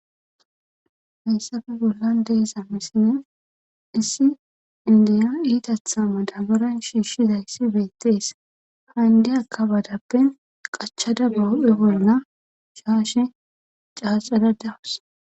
hayssafe bollan deesa misile issi indiyo iitatha madaboran shiishshizayssi beettees handiyakka badappen qachada boo7e bolna shaashe caaxadadawus